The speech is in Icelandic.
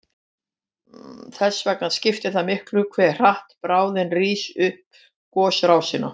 Þess vegna skiptir það miklu hve hratt bráðin rís upp gosrásina.